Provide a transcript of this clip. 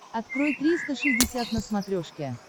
открой триста шестьдесят на смотрешке